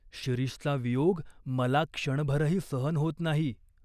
शिरीषचा वियोग मला क्षणभरही सहन होत नाही.